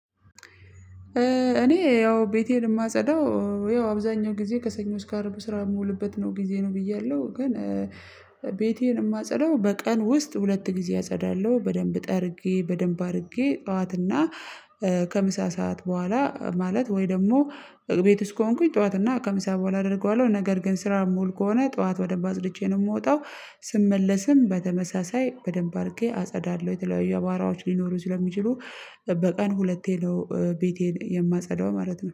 እኔ ያው ቤቴን የማጸዳው ያው አብዛኛው ጊዜ ከሰኞ እስከ አረብ ስራ የምውልበት ነው ጊዜ ነው። ብያለሁ ግን ቤቴን የማጸዳው በቀን ውስጥ ሁለት ጊዜ አጸዳለሁ በደንብ ጠርጌ በደንብ አድርጌ ጠዋትና ከምሳ ሰዓት በኋላ ማለት ወይ ደግሞ ቤት ውስጥ ከሆንኩኝ ጠዋት እና ከምሳ በኋላ አደርገዋለሁ ነገር ግን ስራ ሙሉ ከሆነ ጠዋት ወደንብ አጽድቼ ነው የምወጣው ስመለስም በተመሳሳይ በደንብ አርጌ አጸዳለሁ። የተለያዩ አቧዋራዎች ሊኖሩ ስለሚችሉ በቀን ሁለቴ ነው ቤቴን የማጸዳው ማለት ነው